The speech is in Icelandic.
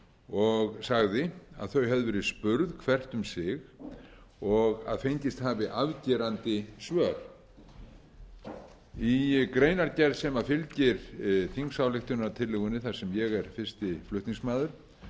og sagði að þau hefðu verið spurð hvert um sig og að fengist hafi afgerandi svör í greinargerð sem fylgir þingsályktunartillögunni þar sem ég er